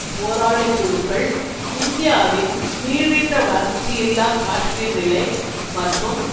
போராளிக்குழுக்கள் இந்தியாவின் நீடித்த வளர்ச்சியில்லா காஷ்மீர் நிலை மற்றும்